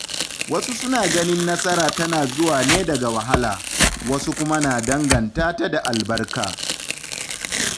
Wasu suna ganin nasara tana zuwa ne daga wahala, wasu kuma na danganta ta da albarka.